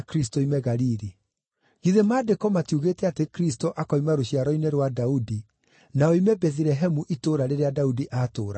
Githĩ Maandĩko matiugĩte atĩ Kristũ akoima rũciaro-inĩ rwa Daudi, na oime Bethilehemu itũũra rĩrĩa Daudi aatũũraga?”